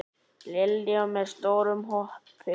Lillý: Með stórum hópi?